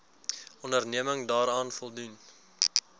onderneming daaraan voldoen